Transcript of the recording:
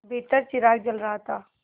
भीतर चिराग जल रहा था